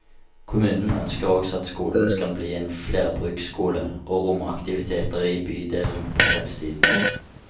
Kommunen ønsker også at skolen skal bli en flerbruksskole, og romme aktiviteter i bydelen på kveldstid.